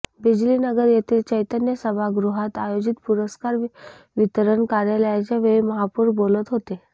बिजलीनगर येथील चैतन्य सभागृहात आयोजित पुरस्कार वितरण कार्यक्रमाच्या वेळी महापौर बोलत होते